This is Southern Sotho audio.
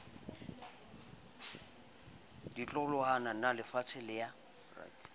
ditloholwana na ebelefatshe le ya